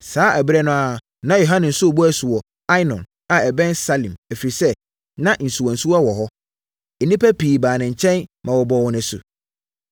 Saa ɛberɛ no ara na Yohane nso rebɔ asu wɔ Ainon a ɛbɛn Salim, ɛfiri sɛ, na nsuwansuwa wɔ hɔ. Nnipa pii baa ne nkyɛn ma ɔbɔɔ wɔn asu.